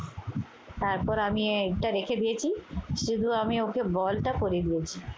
তারপর আমি একটা রেখে দিয়েছি, শুধু আমি ওকে বলটা পরিয়ে দিয়েছি।